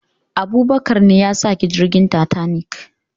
Abubakar ne yasaki jirgin tatanik